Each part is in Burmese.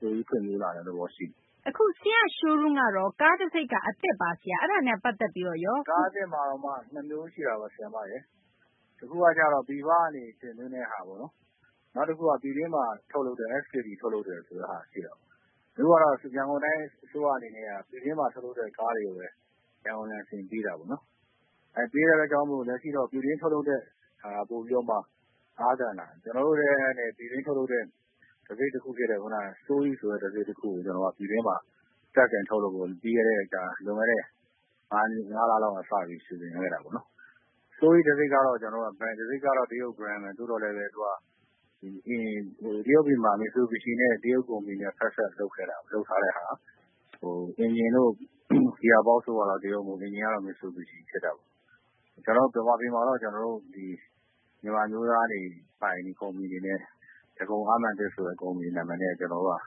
ပိုပြီး ဖွံ့ဖြိုးလာတဲ့ သဘောရှိတယ်။ သိင်္ဂ ီထိုက်။ ။ အခု ဆရာ့ Showroom ကတော့ ကားတံဆိပ်က အသစ်ပါ။ အဲဒါနဲ့ ပတ်သက်ပြီးတော့ရော ဒေါက်တာ စိုးထွန်း။ ။ ကား အသစ်မှာမှ ၂ မျိုးရှိတာပေါ့။ တခုက ကျတော့ ပြည်ပကနေ တင်သွင်းတဲ့ဟာပေါ့နော်။ နောက်တခုက ပြည်တွင်းမှာ ထုတ်လုပ်တယ်။ SKD ထုတ်လုပ်တယ် ဆိုတဲ့ဟာ ရှိတာပေါ့။ အခုကတော့ ရန်ကုန်တိုင်း အစိုးရက ပြည်တွင်းမှာ ထုတ်လုပ်တဲ့ ကား တွေကိုဘဲ ရန်ကုန်လိုင်စင်ပေးတာပေါ့နော်။ ပေးတဲ့ အတွက်ကြောင့်မို့ လက်ရှိမှာတော့ ပြည်တွင်း ထုတ်လုပ်တဲ့ ဟာက ပိုပြီးတော့မှ အားသန်တာ။ ကျနော်တို့လည်း ပြည်တွင်း ထုတ်လုပ်တဲ့ တံဆိပ်တခုဖြစ်တဲ့ Soueast ဆိုတဲ့ တံဆိပ် တခုကို ပြည်တွင်းမှာ စတင်ထုတ်လုပ်ဖို့ လွန်ခဲ့တဲ့ ၅ လလောက်က စပြီး စီစဉ်ခဲ့တာပေါ့နော်။ Soueast တံဆိပ်ကတော့ Brand ကတော့ တရုတ် Brand ဘဲ။ သို့သော်လည်းပဲ သူက တရုတ်ပြည်မှာ မစ်ဆူဘီရှီနဲ့ တရုတ် ကုမ္ပဏီနဲ့ ဖက်စပ် လုပ်ထားတဲ့ဟာ။ အင်ဂျင်တို့ ဂီယာဘောက်စ်တို့ကတော့ တရုတ် မဟုတ်ဘူး။ အင်ဂျင်ကတော့ မစ်ဆူဘီရှီ ဖြစ်တာပေါ့။ ကျနော်တို့ ဗမာပြည်မှာတော့ ကျနော်တို့ မြန်မာ အမျိုးသားတွေပိုင် ကုမ္ပဏီ အနေနဲ့ ဒဂုံအားမာန်သစ် ဆိုတဲ့ ကုမ္ပဏီ နာမည်နဲ့ ၁၀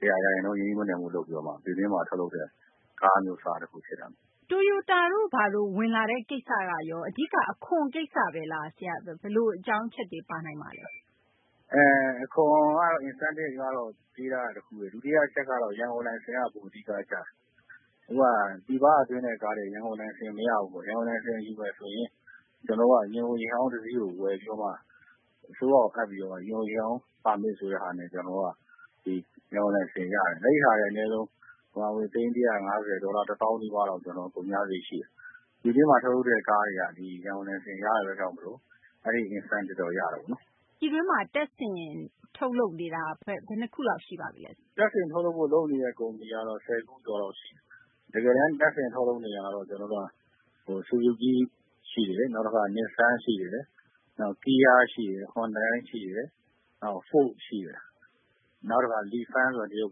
၀ ရာခိုင်နှုန်း ရင်းနှီးမြှုပ်နှံမှု လုပ်ပြီးတော့ ပြည်တွင်းမှာ ထုတ်လုပ်တဲ့ ကားအမျိုးအစား ဖြစ်တာပေါ့။ သိင်္ဂ ီထိုက်။ ။ Toyota တို့ ဘာတို့ ဝင်လာတဲ့ ကိစ္စက အဓိက အခွန်ကိစ္စဘဲလား။ အဓိက ဘယ်လို အကြောင်းအချက်တွေ ပါနိုင်ပါလဲ။ ဒေါက်တာ စိုးထွန်း။ ။ အခွန်ကတော့ Incentive ပေးထားတာ တခုဘဲ။ အဓိက အချက်ကတော့ ရန်ကုန်လိုင်စင်က ပိုအဓိက ကျတယ်။ အခုဟာ ပြည်ပက သွင်းတဲ့ ကားတွေ ရန်ကုန်လိုင်စင် မရဘူးပေါ့။ ရန်ကုန်လိုင်စင် ယူမယ်ဆိုရင် ကျနော်တို့က ယာဉ်အို ယာဉ်ဟောင်း တစီးကို ဝယ်ပြီးတော့မှ အစိုးရကို အပ်ပြီးတော့မှ ယာဉ်အို ယာဉ်ဟောင်း ပါမစ် ဆိုတဲ့ ဟာနဲ့ ကျနော်တို့က ဒီ ရန်ကုန်လိုင်စင် ရတယ်။ အဲဒီဟာကလည်း အနည်းဆုံး သိန်း ၁၅၀၊ ဒေါ်လာ ၁ သောင်း နီးပါးလောက် ကုန်ကျစာရိတ် ရှိတယ်။ ပြည်တွင်းမှာ ထုတ်တဲ့ ကားတွေက ရန်ကုန်လိုင်စင် ရတဲ့ အတွက်ကြောင့်မို့လို့ အဲဒီ Incentive တော့ ရတာပေါ့နော်။ သိင်္ဂ ီထိုက်။ ။ ပြည်တွင်းမှာ တပ်ဆင် ထုတ်လုပ်နေတာ ဘယ်နှခုလောက် ရှိပါပြီလဲ။ ဒေါက်တာ စိုးထွန်း။ ။ တပ်ဆင် ထုတ်လုပ်ဖို့ လုပ်နေတဲ့ ကုမ္ပဏီကတော့ ၁၀ ခုကျော်လောက် ရှိတယ်။ တကယ်တန်း တပ်ဆင် ထုတ်လုပ်နေတာကတော့ ဆူဇူကီး ရှိတယ်၊ နောက်တခါ Nissan ရှိတယ်၊ နောက် Kia ရှိတယ်၊ Hyundai ရှိတယ်၊ နောက် Ford ရှိတယ်။ နောက်တခါ လီဖန်း ဆိုတဲ့ တရုတ်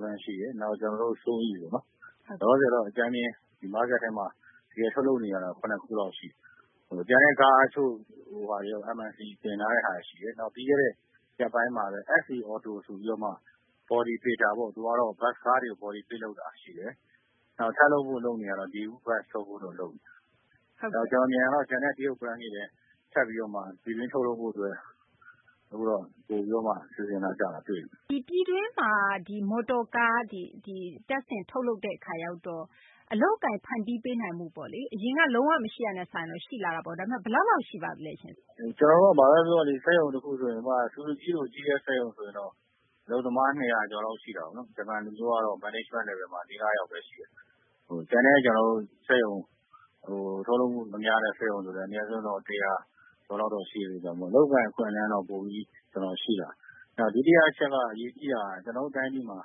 Brand ရှိတယ်။ နောက် ကျနော်တို့ Soueast ပေါ့နော်။ လောလောဆယ်ကတော့ အကြမ်းဖျဉ်း ဒီ မားကတ်ထဲမှာ တကယ် ထုတ်လုပ်နေတာတော့ ၇ ခုလောက် ရှိတယ်။ ကျန်တဲ့ ကားထုတ်လုပ်တဲ့ဟာ MIC တင်ထားတဲ့ဟာ ရှိတယ်။ နောက် ပြီးခဲ့တဲ့ ရက်ပိုင်းမှာဘဲ SA AUTO ဆိုပြီးတော့မှ Body Builder ပေါ့။ သူကတော့ ဘတ်စ်ကားတွေ Body Build လုပ်တာ ရှိတယ်။ နောက် ဆက်လုပ်ဖို့ လုပ်နေတာကတော့ Daewoo Bus ထုတ်ဖို့တော့ လုပ်နေတယ်။ ကျနော် မြင်တာတော့ ကျန်တဲ့ တရုတ် Brand တွေလည်း ဆက်ပြီးတော့ ပြည်တွင်း ထုတ်လုပ်ဖို့ အတွက် အခုတော့ ပိုပြီးတော့ စီစဉ်လာကြတာ တွေ့တယ်။ သိင်္ဂ ီထိုက်။ ။ ဒီ ပြည်တွင်းမှာ မော်တော်ကား တပ်ဆင် ထုတ်လုပ်တဲ့ အခါရောက်တော့ အလုပ်အကိုင် ဖန်တီးပေးနိုင်မှုပေါ့လေ၊ အရင်က လုံး၀ မရှိတာနဲ့ စာရင်တော့ ရှိလာတာပေါ့။ ဒါပေမယ့် ဘယ်လောက်လောက် ရှိပါသလဲရှင့်။ ဒေါက်တာ စိုးထွန်း။ ။ ကျနော်တို့ ဘာဘဲ ပြောပြောလေ။ စက်ရုံ တခုဆိုရင် ဥပမာ ဆူဇူကီးလို အကြီးတန်း စက်ရုံဆိုရင်တော့ အလုပ်သမား ၂၀၀ ကျော်လောက် ရှိတာပေါ့နော်။ ဂျပန် လူမျိုးကတော့ Management Level မှာ ၄ ယောက် ၅ ယောက်ဘဲ ရှိတယ်။ ကျန်တဲ့ စက်ရုံ ထုတ်လုပ်မှု များတဲ့ စက်ရုံဆိုရင်တော့ အနည်းဆုံးတော့ ၁၀၀ ကျော်လောက်တော့ ရှိတယ်။ အလုပ်အကိုင် အခွင့်အလမ်းတော့ ပိုပြီး ရှိလာတယ်။ ဒုတိယ တချက် အရေးကြီးတာက ကျနော်တို့ တိုင်းပြည်မှာ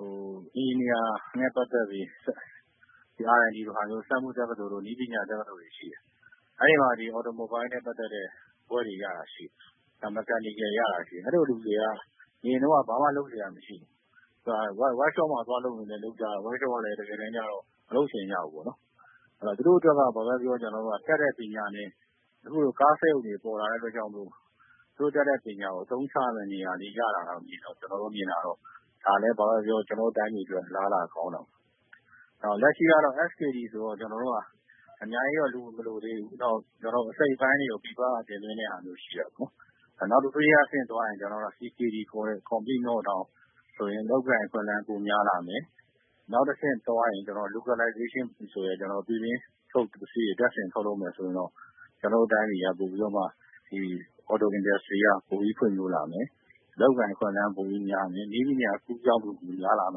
အင်ဂျင်နီယာနဲ့ ပတ်သက်ပြီး RIT လိုဟာမျိုး စက်မှု တက္ကသိုလ်တို့ နည်းပညာ တက္ကသိုလ်တွေ ရှိတယ်။ အဲဒီမှာ Automobile နဲ့ ပတ်သက်တဲ့ ဘွဲ့တွေ ရတာ ရှိတယ်။ Mechanical ရတာ ရှိတယ်။ အဲလို လူတွေက အရင်တုန်းက ဘာမှ လုပ်စရာ မရှိဘူး။ ဝပ်ရှော့မှာ သွားလုပ်ရင်လည်း ဝပ်ရှော့မှာ တကယ်တန်း ကျတော့ မလုပ်ချင်ကြဘူးပေါ့နော်။ သူတို့ အတွက်တော့ ဘာဘဲ ပြောပြော တတ်တဲ့ ပညာနဲ့ အခုလို ကားစက်ရုံတွေ ပေါ်လာတဲ့ အတွက်ကြောင့် မို့လို့ သူတို့ တတ်တဲ့ ပညာကို အသုံးချရမယ့် နေရာလေး ရလာတာ။ ကျနော်တို့ မြင်တာကတော့ ဒါလည်း ဘာဘဲ ပြောပြော ကျနေ်ာတို့ တိုင်းပြည် အတွက် အလားအလာ ကောင်းတာပေါ့။ လက်ရှိကတော့ SKD ဆိုတော့ ကျနော်တို့က အများကြီးတော့ လူမလိုသေးဘူး။ နောက် အစိတ်အပိုင်းတွေကို ပြည်ပက တင်သွင်းတဲ့ဟာမျိုး ရှိတယ်။ နောက် တဆင့် သွားရင် CKD ခေါ်တဲ့ ဆိုရင် အလုပ်အကိုင် အခွင့်အလမ်း ပိုများလာမယ်။ နောက်တဆင့်သွားရင် Localization ဆိုတဲ့ ပြည်တွင်းထုတ် ပစ္စည်းတွေ တပ်ဆင် ထုတ်လုပ်မယ်ဆိုရင်တော့ ကျနော်တို့ တိုင်းပြည်က ပိုပြီးတော့ Auto Industry က ပိုပြီး ဖွံ့ဖြိုးလာမယ်။ အလုပ်အကိုင် အခွင့်အလမ်း ပိုပြီးများမယ်။ နည်းပညာ အကူးအပြောင်း များလာမ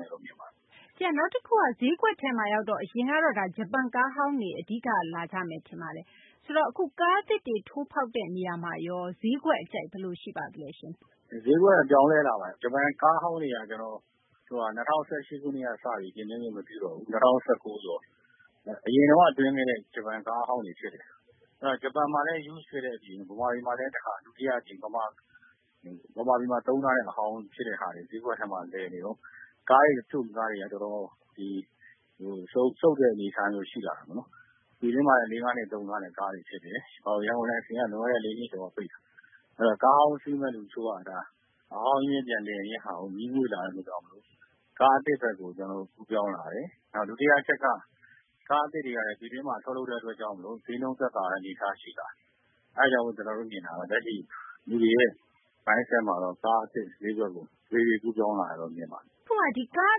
ယ်လို့ မြင်ပါတယ်။ သိင်္ဂ ီထိုက်။ ။ နောက်တခုက ဈေးကွက်ထဲမှာရောက်တော့ အရင်ကတော့ ဂျပန်ကားဟောင်းတွေ အဓိက လာကြမယ် ထင်ပါတယ်။ ဆိုတော့ အခု ကားသစ်တွေ ထိုးဖောက်တဲ့ နေရာမှာ ဈေးကွက် အကြိုက် ဘယ်လို ရှိပါသလဲရှင်။ ဒေါက်တာ စိုးထွန်း။ ။ ဈေးကွက်က ပြောင်းလဲလာပါတယ်။ ဂျပန်ကားဟောင်းတွေက ၂၀၁၈ ကတည်းက တင်သွင်းခွင့် မပြုတော့ဘူး။ ၂၀၁၉ ဆိုတော့ အရင်ကတည်းက တင်သွင်းခဲ့တဲ့ ဂျပန် ကားဟောင်းတွေ ဖြစ်တယ်။ ဂျပန်မှာလည်း Used ဖြစ်တဲ့ အပြင် ဗမာပြည်မှာလည်း ဒုတိယ အကြိမ် ဗမာပြည်မှာ သုံးထားတဲ့ အဟောင်း ဖြစ်တဲ့ဟာတွေ ဈေးကွက်ထဲမှာလည်နေတော့ ကားတွေ တချို့ကားတွေက တော်တော် စုတ်တဲ့ အနေအထားမျိုး ရှိလာတာပေါ့နော်။ ဒီထဲမှာလည်း သုံးထားတဲ့ ကားတွေ ဖြစ်တယ်။ နောက် ရန်ကုန်လိုင်စင်က လွန်ခဲ့တဲ့ ၄ နှစ်ကျော်က ပိတ်ထားတာ။ ဆိုတော့ ကားဟောင်းစီးမယ့်သူ တချို့က အဟောင်း အမြင်း ပြန်လဲမယ့်ဟာကို ငြီးငွေ့လာတဲ့ အတွက်ကြောင့်မို့လို့ ကားအသစ်ဘက်ကို ကူးပြောင်းလာတယ်။ နောက် ဒုတိယ အချက်က ကားအသစ်တွေကလည်း ပြည်တွင်းမှာ ထုတ်လုပ်တဲ့ အတွက်ကြောင့်မို့လို့ ဈေးနှုန်း သက်သာတဲ့ အနေအထား ရှိလာတယ်။ အဲဒါကြောင့် ကျနော်တို့ မြင်တာတော့ လက်ရှိ လူတွေရဲ့ စိတ်ထဲမှာတော့ ကားအသစ် ဈေးကွက်ကို တဖြည်းဖြည်း ကူးပြောင်းလာတယ်လို့ မြင်ပါတယ်။ သိင်္ဂ ီထိုက်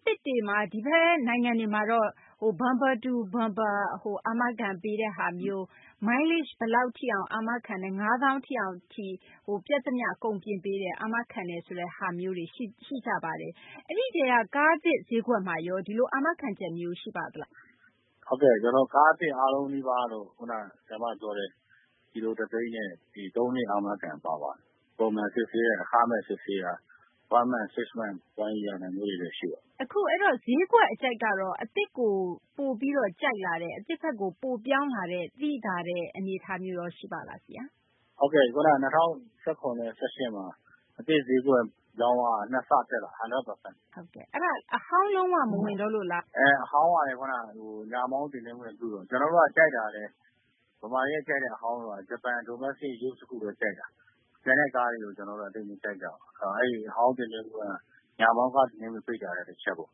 ။ ။ ကားအသစ်တွေမှာ ဒီဘက် နိုင်ငံတွေမှာတော့ Bumper-to-Bumper အာမခံပေးတဲ့ဟာမျိုး၊ မိုင် ၅ သောင်းထိ ပျက်သမျှ အကုန် ပြင်ပေးတယ်၊ အာမခံတယ်ဆိုတဲ့ ဟာမျိုးတွေ ရှိကြပါတယ်။ အဲဒီမှာရော ကားသစ်ဈေးကွက်မှာရော ဒီလို အာမခံချက်မျိုး ရှိပါသလား။ ဒေါက်တာ စိုးထွန်း။ ။ ဟုတ်ကဲ့ ကျနော်တို့ ကားသစ် အားလုံးနီးပါးကတော့ ခုန ပြောတဲ့ ကီလို တသိန်းနဲ့ ၃ နှစ် အာမခံပါပါတယ်။ ပုံမှန် စစ်ဆေးတာ အခမဲ့ စစ်ဆေးတာ၊ တလ၊ ၆ လ၊ ဒါမျိုးတွေလည်း ရှိပါတယ်။ သိင်္ဂ ီထိုက်။ ။ အခု ဈေးကွက် အကြိုက်ကတော့ အသစ်ကို ပိုပြီးတော့ ကြိုက်လာတယ်။ အသစ်ဘက်ကို ပိုပြောင်းလာတဲ့ သိသာတဲ့ အနေအထားမျိုးရော ရှိပါလား ဆရာ။ ဒေါက်တာ စိုးထွန်း။ ။ ၂၀၁၇ နဲ့ ၂၀၁၈ မှာ အသစ် ဈေးကွက် ရောင်းအားက ၂ ဆ တက်လာတာ။ ၁၀၀ ရာခိုင်နှုန်း။ သိင်္ဂ ီထိုက်။ ။ အဲဒါ အဟောင်းလုံး၀ မဝင်တော့လို့လား။ ဒေါက်တာ စိုးထွန်း။ ။ အဟောင်းကလည်း ညာမောင်းတင်သွင်းခွင့် မပြုတော့ဘူး။ ကျနော်တို့က ကြိုက်တာကလည်း ဗမာတွေ ကြိုက်တဲ့ အဟောင်းက ဂျပန် Domestic Used တခုဘဲ ကြိုက်တာ။ တခြားဟာတွေကို ကျနော်တို့က သိပ်မကြိုက်ကြဘူး။ အဲဒီ အဟောင်း တင်သွင်းခွင့်က ညာမောင်းကား တင်သွင်းခွင့် ပိတ်တာလည်း တချက်ပေါ့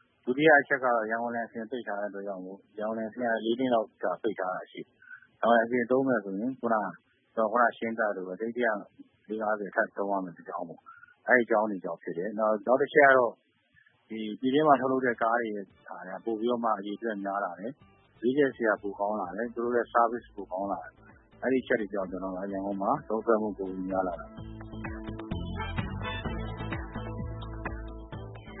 ။ ဒုတိယ တချက်ကတော့ ရန်ကုန်လိုင်စင် ပိတ်ထားတဲ့ အတွက်ကြောင့်မို့ ရန်ကုန်လိုင်စင်က ၄ နှစ်လောက် ပိတ်ထားတာ ရှိတယ်။ ရန်ကုန်လိုင်စင် သုံးမယ်ဆိုရင် ခုနက ရှင်းပြသလိုဘဲ သိန်း ၁၅၀ လောက် ထပ်သုံးရမယ့် အတွက်ကြောင့် မို့လို့ အဲဒီ အကြောင်းတွေကြောင့် ဖြစ်တယ်။ နောက် တချက်ကတော့ ဒီ ပြည်တွင်းမှာ ထုတ်လုပ်တဲ့ ကားတွေက ပိုပြီးတော့မှ အရေအတွက်က များလာတယ်။ ရွေးချယ်စရာ ပိုကောင်းလာတယ်။ သူတို့ အတွက် Service ပိုကောင်းလာတယ်။ အဲဒီ အချက်တွေကြောင့် ကျနော်တို့ ရန်ကုန်မှာ သုံးစွဲမှု ပိုပြီး များလာတာပါ။